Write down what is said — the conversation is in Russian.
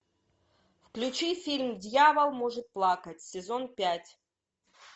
включи фильм дьявол может плакать сезон пять